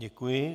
Děkuji.